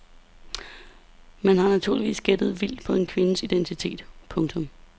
Man har naturligvis gættet vildt på kvindens identitet. punktum